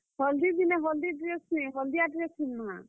Hall ଦି ଦିନେ, ହଲ୍ ଦି dress ନିଁ ହଲ୍ ଦିଆ dress ପିନ୍ଧଁମା।